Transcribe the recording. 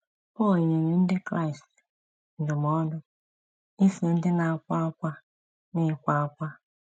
Pọl nyere ndị Kraịst ndụmọdụ ‘ iso ndị na - akwa ákwá n’ịkwa ákwá. ’